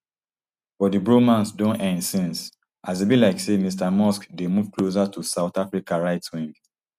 but di bromance don end since as e be like say mr musk dey move closer to south africa right wing